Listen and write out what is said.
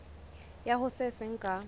ya ho se seng ka